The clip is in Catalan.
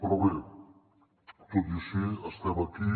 però bé tot i així estem aquí